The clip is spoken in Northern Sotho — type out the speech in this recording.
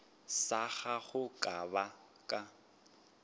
sa gago ka ba ka